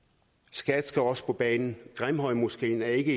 skat skal også på banen grimhøjmoskeen er ikke